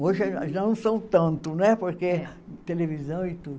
Hoje já não são tanto, né, porque televisão e tudo.